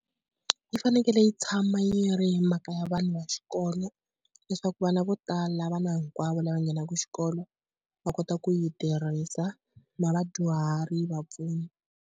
Yi fanekele yi tshama yi ri mhaka ya vanhu va xikolo leswaku vana vo tala vana hinkwavo lava nghenaka xikolo va kota ku yi tirhisa na vadyuhari, vapfuni.